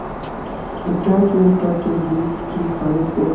आध्यात्मिकता के बीच की खाई को